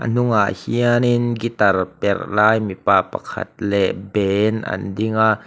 a hnungah hianin gitar perh lai mipa pakhat leh band an ding a.